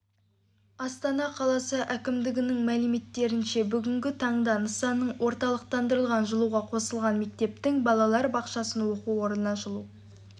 астана қаласы әкімдігінің мәліметтерінше бүгінгі таңда нысанның орталықтандырылған жылуға қосылған мектептің балалар бақшасының оқу орнының жылу